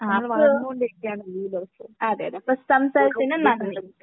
ആഹ് . അപ്പൊ സംസാരിക്കുന്ന തിന് നന്ദി